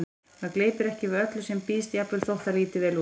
Maður gleypir ekki við öllu sem býðst, jafnvel þótt það líti vel út